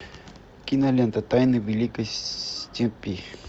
кинолента тайны великой степи